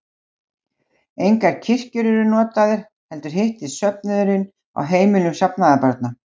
Engar kirkjur eru notaðar, heldur hittist söfnuðurinn á heimilum safnaðarbarna.